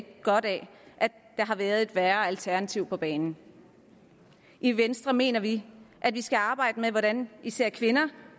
godt af at der har været et værre alternativ på banen i venstre mener vi at vi skal arbejde med hvordan især kvinder